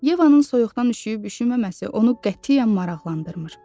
Yevanın soyuqdan üşüyüb üşüməməsi onu qətiyyən maraqlandırmır.